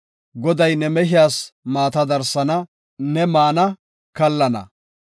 Goday ne mehiyas maata darsana; ne maana; kallana.